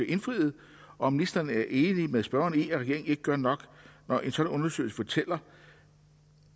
indfries og om ministeren er enig med spørgeren i at regeringen ikke gør nok når en sådan undersøgelse fortæller